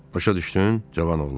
Başa düşdün, cavan oğlan?